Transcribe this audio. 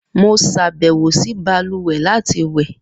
Mo ṣabẹwo si baluwe lati wẹ.